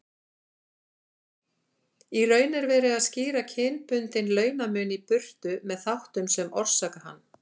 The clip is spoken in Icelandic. Í raun er verið að skýra kynbundinn launamun í burtu með þáttum sem orsaka hann.